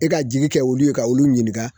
E ka jigi kɛ olu ye, ka olu ɲininka.